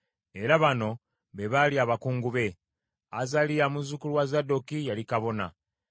Era bano be baali abakungu be: Azaliya muzzukulu wa Zadooki, yali kabona,